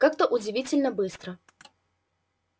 как-то удивительно быстро